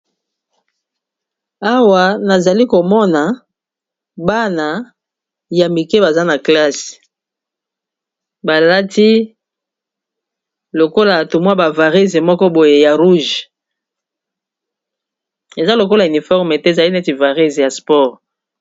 Awa nazali komona bana ya mike baza na klasse balati lokola tomwa ba varesse moko boye ya rouge eza lokola uniforme te ezali neti varesse ya sport.